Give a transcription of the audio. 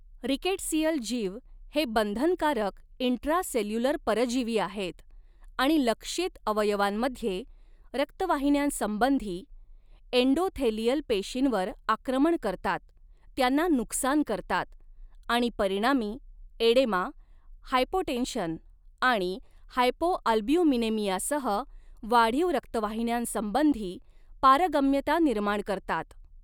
Rickettsial जीव हे बंधनकारक इंट्रासेल्युलर परजीवी आहेत आणि लक्ष्यित अवयवांमध्ये रक्तवाहिन्यांसंबंधी एंडोथेलियल पेशींवर आक्रमण करतात, त्यांना नुकसान करतात आणि परिणामी एडेमा, हायपोटेन्शन आणि हायपोअल्ब्युमिनेमियासह वाढीव रक्तवाहिन्यांसंबंधी पारगम्यता निर्माण करतात.